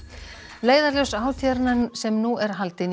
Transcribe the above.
leiðarljós hátíðarinnar sem nú er haldin í